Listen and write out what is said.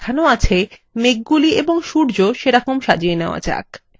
এখন এখানে যেমন দেখানো আছে মেঘগুলি এবং সূর্য সেরকম সাজিয়ে নেওয়া যাক